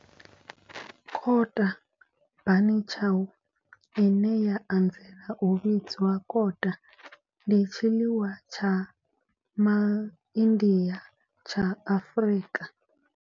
Kota, bunny chow, ine ya anzela u vhidzwa kota, ndi tshiḽiwa tsha MaIndia tsha Afrika.